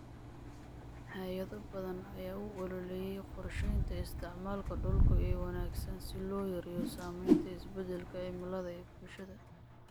Hay'ado badan ayaa u ololeeya qorsheynta isticmaalka dhulka ee wanaagsan si loo yareeyo saameynta isbeddelka cimilada ee bulshada.